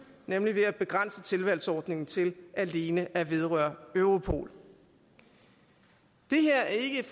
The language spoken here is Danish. nemlig ved at begrænse tilvalgsordningen til alene at vedrøre europol det her er ikke et